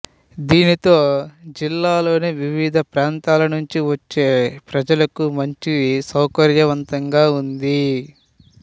దీనితో జిల్లాలోని వివిధ ప్రాంతాల నుంచి వచ్చే ప్రజలకు మంచి సౌకర్యవంతంగా ఉంది